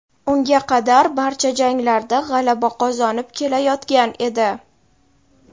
Unga qadar barcha janglarda g‘alaba qozonib kelayotgan edi.